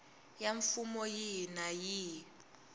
ya mfumo yihi na yihi